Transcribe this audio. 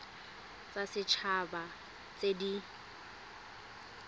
tsa set haba tse di